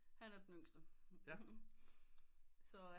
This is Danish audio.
Han er den yngste så